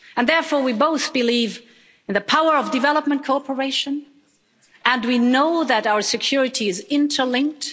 And therefore we both believe in the power of development cooperation, and we know that our security is interlinked.